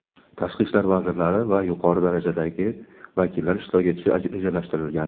tashqi ishlar vazirlari va yuqori darajadagi vakillar ishtirok etishi rejalashtirilgan.